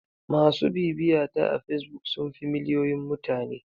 MAsu bibiyata a facebook sun fi miliyoyin mutane.